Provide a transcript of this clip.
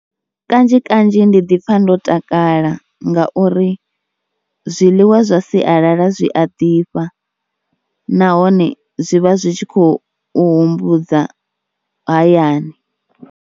Kanzhi kanzhi ndi ḓi pfha ndo takala ngauri zwiḽiwa zwa sialala zwi a ḓifha nahone zwi vha zwi tshi khou humbudza hayani.